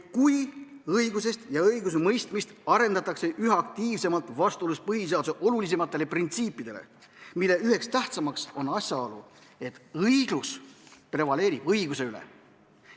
Kui õigust ja õigusemõistmist arendatakse üha aktiivsemalt vastuolus põhiseaduse olulisimatele printsiipidele, millest üks tähtsam on asjaolu, et õiglus prevaleerib õiguse üle.